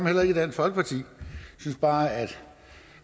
heller ikke i dansk folkeparti vi synes bare